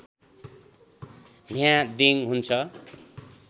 न्हा दिङ हुन्छ